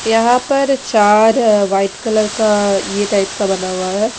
यहाँ पर चार अ व्हाइट कलर का ये टाइप का बना हुआ है--